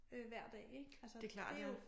Øh hver dag ik altså det jo